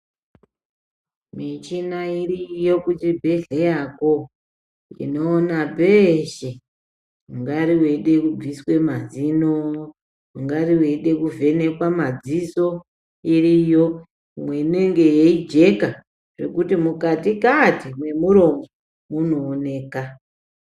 Michina iriyo kuchibhedhleyako, inoona peshe ungari weida kubviswa mazino ungari weida kuvhenekwa madziso, iriyo imwe inenga yeijeka zvekuti mukati kati mwemuromo munooneka.